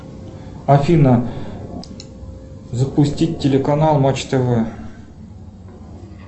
афина запустить телеканал матч тв